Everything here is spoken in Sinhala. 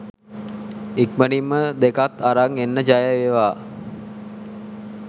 ඉක්මනින්ම දෙකත් අරන් එන්න ජයවේවා.